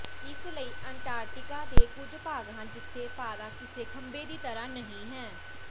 ਇਸ ਲਈ ਅੰਟਾਰਕਟਿਕਾ ਦੇ ਕੁਝ ਭਾਗ ਹਨ ਜਿੱਥੇ ਪਾਰਾ ਕਿਸੇ ਖੰਭੇ ਦੀ ਤਰ੍ਹਾਂ ਨਹੀਂ ਹੈ